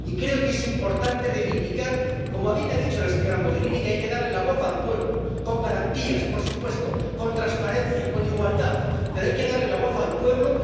Y creo que es importante reivindicar, como bien ha dicho la señora Mogherini, que hay que darle la voz al pueblo —con garantías, por supuesto, con transparencia, con igualdad, pero hay que darle la voz al pueblo—.